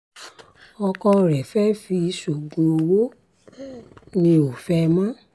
ọkọ mi fẹ́ẹ́ fi mí sóògùn ọwọ́ mi ò fẹ́ ẹ mọ́